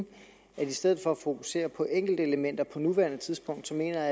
i stedet for at fokusere på enkeltelementer på nuværende tidspunkt mener